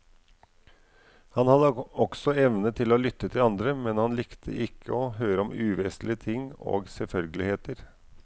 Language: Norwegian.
Han hadde også evne til å lytte til andre, men han likte ikke å høre om uvesentlige ting og selvfølgeligheter.